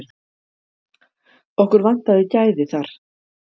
Okkur vantaði gæði þar.